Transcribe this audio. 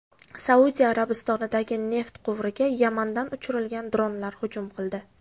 Saudiya Arabistonidagi neft quvuriga Yamandan uchirilgan dronlar hujum qildi.